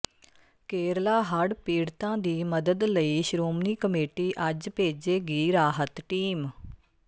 ਕੇਰਲਾ ਹੜ੍ਹ ਪੀੜਤਾਂ ਦੀ ਮਦਦ ਲਈ ਸ਼੍ਰੋਮਣੀ ਕਮੇਟੀ ਅੱਜ ਭੇਜੇਗੀ ਰਾਹਤ ਟੀਮ